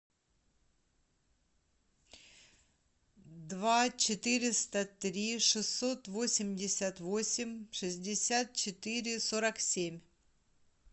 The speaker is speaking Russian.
два четыреста три шестьсот восемьдесят восемь шестьдесят четыре сорок семь